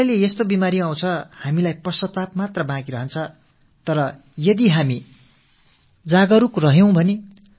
சில வேளைகளில் வாழ்க்கை முழுவதும் நம்மை வருத்தப்பட வைக்கக் கூடிய நோய்களும் நம்மை பீடித்து விடுகின்றன